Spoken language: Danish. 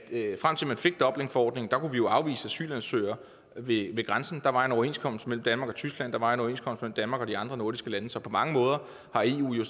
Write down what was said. frem til man fik dublinforordningen kunne vi jo afvise asylansøgere ved grænsen der var en overenskomst mellem danmark og tyskland der var en overenskomst mellem danmark og de andre nordiske lande så på mange måder har eu jo